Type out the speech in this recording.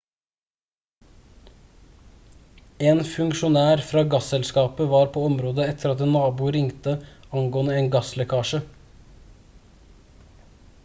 en funksjonær fra gasselskapet var på området etter at en nabo ringte angående en gasslekkasje